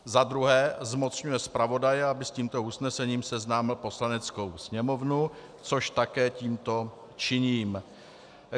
za druhé zmocňuje zpravodaje, aby s tímto usnesením seznámil Poslaneckou sněmovnu, což také tímto činím.